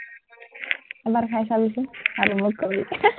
এবাৰ খাই চাবিচোন, আৰু মোক কবি